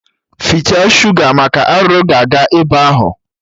Fichaa shuga maka arụrụ ga-aga ebe ahụ